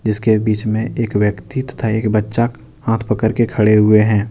इसके बीच में एक व्यक्ति तथा एक बच्चा हाथ पकर के खड़े हुए हैं।